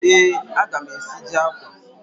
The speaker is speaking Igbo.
Ee, aga m esiji akwa.